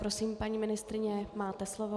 Prosím, paní ministryně, máte slovo.